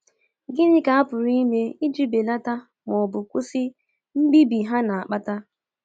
Gịnị ka a pụrụ ime iji belata ma ọ bụ kwụsị mbibi ha na-akpata?